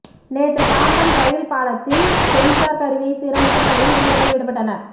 நேற்று பாம்பன் ரயில் பாலத்தில் சென்சார் கருவியை சீரமைக்கும் பணியில் ஊழியர்கள் ஈடுபட்டனர்